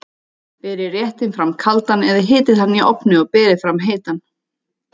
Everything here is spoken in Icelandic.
Berið réttinn fram kaldan eða hitið hann í ofni og berið fram heitan.